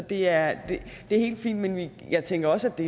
det er helt fint men jeg tænker også at